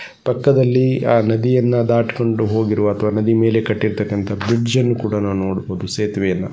ಪಕ್ಕದಲ್ಲಿ ಆ ನದಿಯನ್ನ ದಾಟಿಕೊಂಡು ಹೋಗಿರುವ ಅಥವಾ ನದಿಮೇಲೆ ಕಟ್ಟಿರತಕಂತಹ ಬ್ರಿಡ್ಜ್ಅನ್ನು ಕೂಡಾ ನಾವು ನೋಡಬಹುದು ಸೇತುವೆಯನ್ನ .